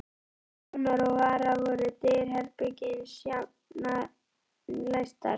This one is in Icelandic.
Til vonar og vara voru dyr herbergisins jafnan læstar.